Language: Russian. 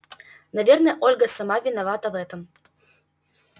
наверное ольга сама виновата в этом